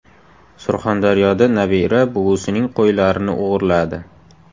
Surxondaryoda nabira buvisining qo‘ylarini o‘g‘irladi.